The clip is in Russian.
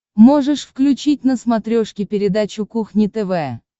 можешь включить на смотрешке передачу кухня тв